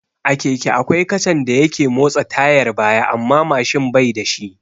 A keke akwai kacan da yake motsa tayar baya amma Mashin bai da shi